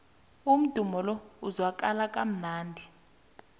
umdumo lo uzwakala kamnandi